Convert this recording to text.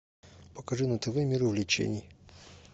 покажи на тв мир увлечений